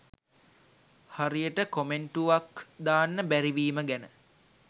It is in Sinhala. හරියට කොමෙන්ටුවක් දාන්න බැරිවීම ගැන